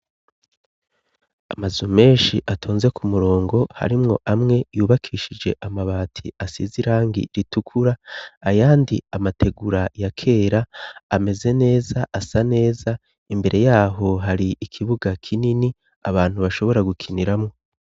Amazu menshi atonze ku murongo, harimwo amwe yubakishije amabati , asize irangi ritukura, ayandi amategura ya kera ameze neza, asa neza. Imbere yaho hari ikibuga kinini, abantu bashobora gukiniramwo.